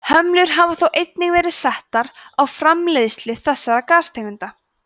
hömlur hafa þó einnig verið settar á framleiðslu þessara gastegunda